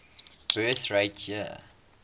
birth rate year